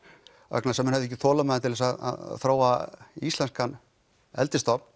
vegna þess að menn höfðu ekki þolinmæði til þess að þróa íslenskan